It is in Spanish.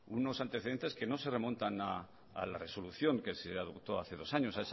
unos antecedentes que no se remontan a la resolución que se adoptó hace dos años